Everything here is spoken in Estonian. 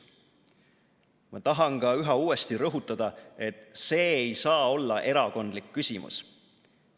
Ma tahan ka üha uuesti rõhutada, et see ei saa olla erakondlik küsimus.